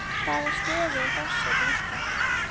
Í hvaða stöðu er forseti Íslands?